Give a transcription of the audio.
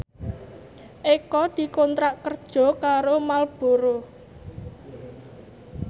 Eko dikontrak kerja karo Marlboro